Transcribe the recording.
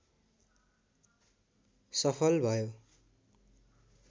सफल भयो